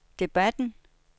debatten